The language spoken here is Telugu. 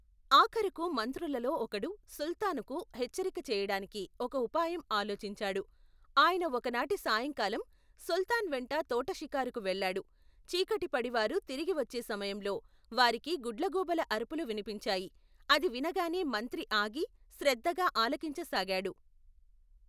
ఆఖరుకు మంత్రులలో ఒకడు సుల్తానుకు హెచ్చరిక చెయటానికి ఒక ఉపాయం ఆలోచించాడు ఆయన ఒకనాటి సాయంకాలం సుల్తాన్ వెంట తోటషికారుకు వెళ్ళాడు చీకటి పడి వారు తిరిగి వచ్చే సమయంలో వారికి గుడ్లగూబల అరుపులు వినిపించాయి అది వినగానే మంత్రి ఆగి శ్రద్దగా ఆలకించసాగాడు.